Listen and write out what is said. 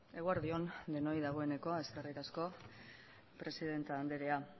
eguerdi on denoi dagoeneko eskerrik asko presidente anderea